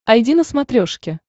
айди на смотрешке